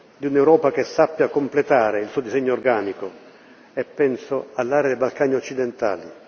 Di un'Europa che sappia completare il suo disegno organico, e penso all'area dei Balcani occidentali.